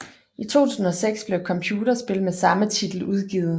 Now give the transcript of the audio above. I 2006 blev et computerspil med samme titel udgivet